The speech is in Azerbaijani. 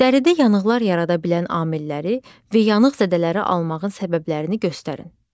Dəridə yanıqlar yarada bilən amilləri və yanıq zədələri almağın səbəblərini göstərin.